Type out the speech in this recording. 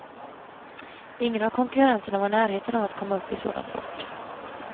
Ingen av konkurrenterna var i närheten av att komma upp i sådan fart.